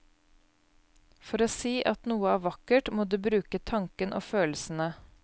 For å si at noe er vakkert, må du bruke tanken og følelsene.